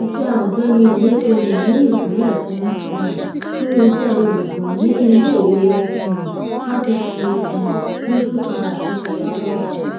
iṣẹ ọgbẹni emefiele ní ìpìlẹ kún um fún iṣẹ olùkọ ní ilé ìwé um fasítì um nsukka àti potakootu